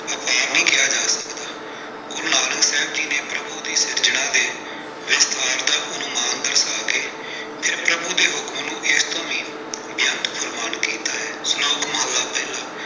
ਅਪਾਰ ਨਹੀਂ ਕਿਹਾ ਜਾ ਸਕਦਾ, ਗੁਰੂ ਨਾਨਕ ਸਾਹਿਬ ਜੀ ਨੇ ਪ੍ਰਭੂ ਦੀ ਸਿਰਜਣਾ ਦੇ ਵਿਸਤਾਰ ਦਾ ਅਨੁਮਾਨ ਦਰਸਾ ਕੇ, ਫਿਰ ਪ੍ਰਭੂ ਦੇ ਹੁਕਮ ਨੂੰ ਏਸ ਤੋਂ ਵੀ ਬੇਅੰਤ ਫਰਮਾਨ ਕੀਤਾ ਹੈ। ਸਲੋਕ ਮਹਲਾ ਪਹਿਲਾ।